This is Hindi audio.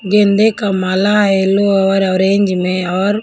गेंदे का माला येलो और ऑरेंज में और--